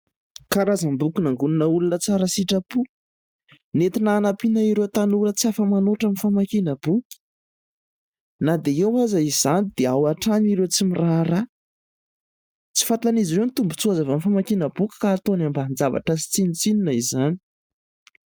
Karazam-boky nangonina olona tsara sitrapo. Nentina hanampiana ireo tanora tsy afa-manoatra amin'ny famakiana boky na dia eo aza izany dia ao hatrany ireo tsy miraharaha. Tsy fantan'izy ireo ny tombontsoa azo avy amin'ny famakiana boky ka ataony ambanin-javatra sy tsinontsinona izany.